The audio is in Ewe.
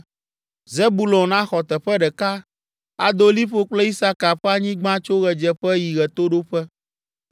Zebulon axɔ teƒe ɖeka; ado liƒo kple Isaka ƒe anyigba tso ɣedzeƒe yi ɣetoɖoƒe.